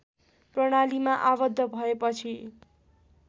प्रणालीमा आबद्ध भएपछि